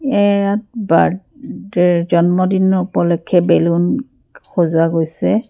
ইয়াত বাৰ্থডে জন্মদিনৰ উপলক্ষ্যে বেলুন সজোৱা গৈছে।